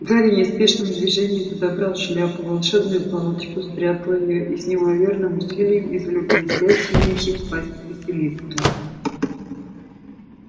гарри неспешным движением подобрал шляпу волшебную палочку спрятал её и с неимоверным усилием извлёк блестящий меч из пасти василиска